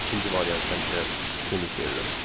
Mən ikinci variantı həmişə üstünlük verirəm.